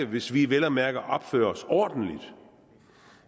hvis vi vel at mærke opfører os ordentligt